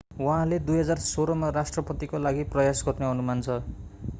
उहाँले 2016 मा राष्ट्रपतिको लागि प्रयास गर्ने अनुमान छ